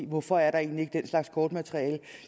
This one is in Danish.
hvorfor er der egentlig ikke den slags kortmateriale